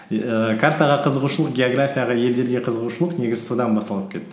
ііі картаға қызығушылық географияға елдерге қызығушылық негізі содан басталып кетті